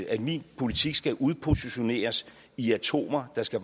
at min politik skal udkrystalliseres i atomer der skal